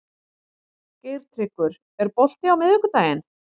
Geirtryggur, er bolti á miðvikudaginn?